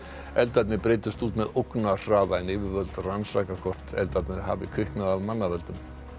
eldarnir breiddust út með ógnarhraða en yfirvöld rannsaka hvort eldarnir hafi kviknað af manna völdum